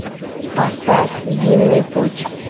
поставь винный путь